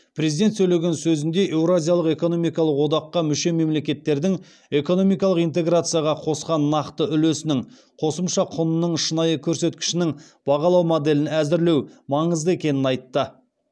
президент сөйлеген сөзінде еуразиялық экономикалық одаққа мүше мемлекеттердің экономикалық интеграцияға қосқан нақты үлесінің қосымша құнының шынайы көрсеткішінің бағалау моделін әзірлеу маңызды екенін айтты